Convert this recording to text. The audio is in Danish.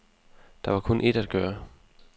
Der var kun et at gøre.